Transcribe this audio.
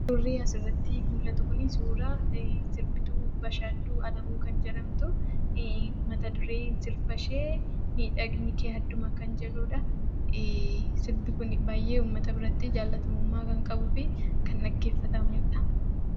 Suurri asirratti mul'atu kun suuraa sirbituu Bashaadduu Alamuu kan jedhamtu mata-dureen sirbashee miidhaginni kee adduma kan jedhuudha. Sirbi kun baay'ee uummata biratti jaalatamummaa kan qabuu fi kan dhaggeeffatamuudha.